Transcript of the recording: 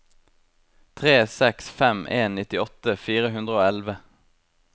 tre seks fem en nittiåtte fire hundre og elleve